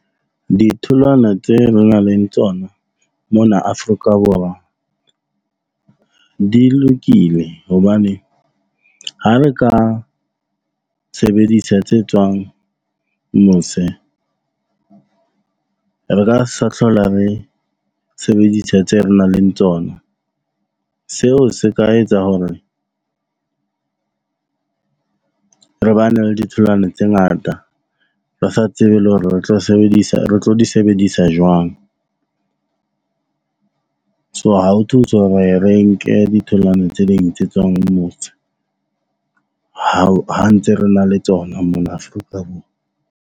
Ditholwana tse nang le tsona mona Afrika Borwa di lokile hobane ha re ka sebedisa tse tswang mose, re ka sa hlola re sebedisa tseo re nang le tsona. Seo se ka etsa hore re bane le ditholwana tse ngata. Re sa tsebe le hore re tlo sebedisa re tlo di sebedisa jwang. So ha ho thuse hore re nke ditholwana tse ding tse tswang mose ha ntse re na le tsona mona Afrika Borwa.